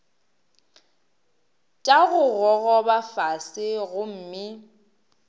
tša go gogoba fase gomme